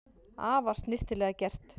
Afar snyrtilega gert